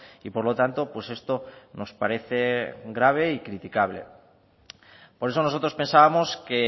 y por lo tanto pues esto nos parece grave y criticable por eso nosotros pensábamos que